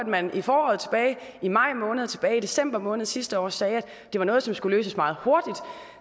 man i foråret tilbage i maj måned og tilbage i december måned sidste år sagde at det var noget som skulle løses meget hurtigt